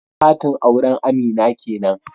Katin auren Amina kenan